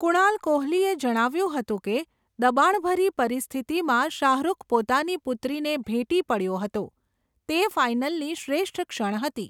કુણાલ કોહલીએ જણાવ્યું હતું કે, દબાણભરી પરિસ્થિતિમાં શાહરુખ પોતાની પુત્રીને ભેટી પડયો હતો, તે ફાઇનલની શ્રેષ્ઠ ક્ષણ હતી.